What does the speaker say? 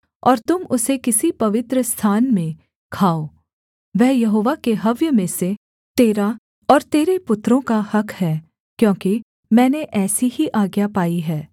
और तुम उसे किसी पवित्रस्थान में खाओ वह यहोवा के हव्य में से तेरा और तेरे पुत्रों का हक़ है क्योंकि मैंने ऐसी ही आज्ञा पाई है